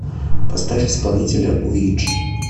поставь исполнителя уиджи